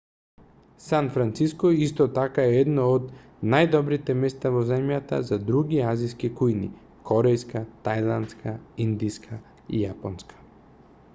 сан франциско исто така е едно од најдобрите места во земјата за други азиски кујни корејска тајландска индиска и јапонска